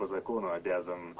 по закону обязан